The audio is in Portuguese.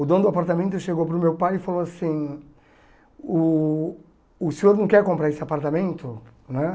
O dono do apartamento chegou para o meu pai e falou assim, uh o senhor não quer comprar esse apartamento né?